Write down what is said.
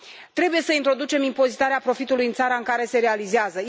Trebuie să introducem impozitarea profitului în țara în care se realizează.